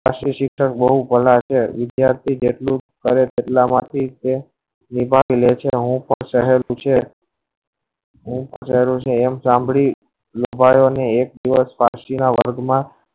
આંસુ બહુ પેહલા છે વિધાર્થી હવે કેટલા માંથી છે હું પણ છે પણ જયારે આવું શામ્બ્ળિયું વર્ગ ના